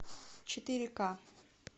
четыре ка